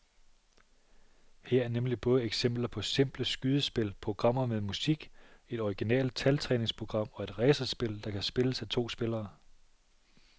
Her er nemlig både eksempler på simple skydespil, programmer med musik, et originalt taltræningsprogram og et racerspil, der kan spilles af to spillere.